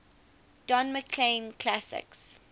don mclean classics